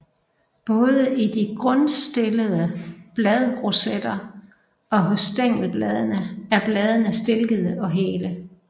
Både i de grundstillede bladrosetter og hos stængelbladene er bladene stilkede og hele